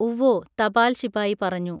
ഉവ്വോ തപാൽശിപായി പറഞ്ഞു